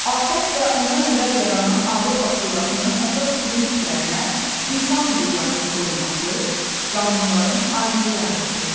ATƏT və ondan əvvəl yaranan Avropa Şurasının əsas prinsiplərinə insan hüquqlarının qorunması, qanunların aliliyi aiddir.